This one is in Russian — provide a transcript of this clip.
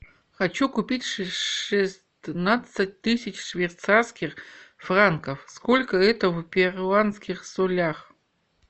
хочу купить шестнадцать тысяч швейцарских франков сколько это в перуанских солях